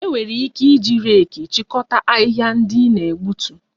E nwere ike iji reeki chịkọta ahịhịa ndị ị na-egbutu